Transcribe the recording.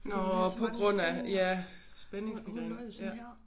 Nåh på grund af ja spændingsmigræne ja